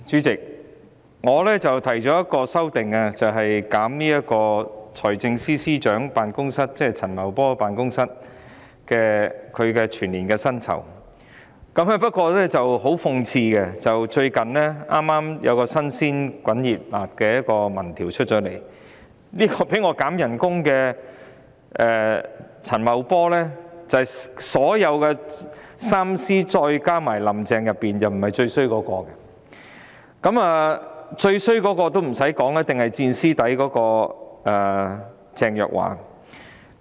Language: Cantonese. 主席，我提出了一項修正案，以削減財政司司長，即陳茂波的全年薪金預算開支，但很諷刺的是，最近發表的一項民調顯示，被我減薪的陳茂波在3位司長加"林鄭"當中並非最差一人，最差的一定是"墊司底"的鄭若驊。